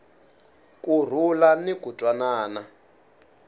ku rhula ni ku twanana